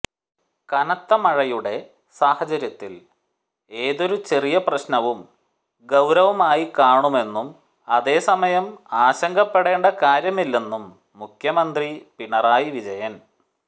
കനത്ത മഴയുടെ സാഹചര്യത്തിൽ ഏതൊരു ചെറിയ പ്രശ്നവും ഗൌരവമായി കാണുമെന്നും അതേസമയം ആശങ്കപ്പെടേണ്ട കാര്യമില്ലെന്നും മുഖ്യമന്ത്രി പിണറായി വിജയൻ